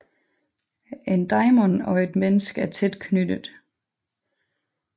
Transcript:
En daimon og et menneske er tæt knyttet